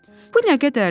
Bu nə qədərdir?